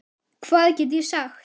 Hvað get ég sagt.